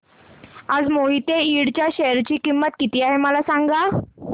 आज मोहिते इंड च्या शेअर ची किंमत किती आहे मला सांगा